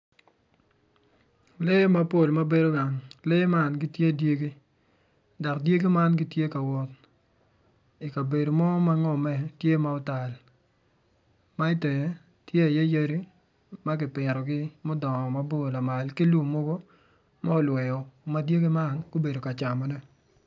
Lee mapol ma gibedo gang lee man gitye dyegi dok dyegi man gitye kawot i kabedo mo ma ngome tye ma otal ma itenge tye iye yadi ma ki pitogi mudongo mabor lamal ki lum mogo ma olweo ma dyegi man gubedo ka camone